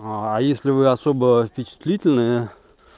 аа если вы особо впечатлительные